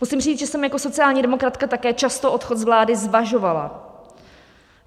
Musím říct, že jsem jako sociální demokratka také často odchod z vlády zvažovala.